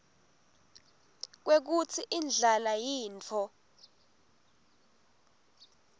kwekutsi indlala yintfo